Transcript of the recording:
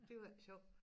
Det var ikke sjovt